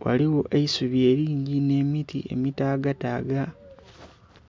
Ghaligho eisubi elingi nh'emiti emitaagataaga